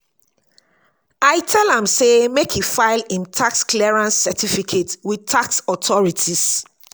i tell am sey make e file im tax clearance certificate with tax authorities.